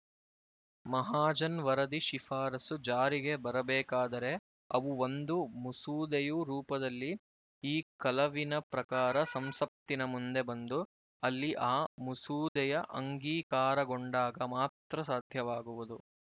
ಮಹಾಜನ್ ವರದಿ ಶಿಫಾರಸು ಜಾರಿಗೆ ಬರಬೇಕಾದರೆ ಅವು ಒಂದು ಮುಸೂದೆಯು ರೂಪದಲ್ಲಿ ಈ ಕಲವಿನ ಪ್ರಕಾರ ಸಂಸತ್ತಿನ ಮುಂದೆ ಬಂದು ಅಲ್ಲಿ ಆ ಮುಸೂದೆಯ ಅಂಗೀಕಾರಗೊಂಡಾಗ ಮಾತ್ರ ಸಾಧ್ಯವಾಗುವುದು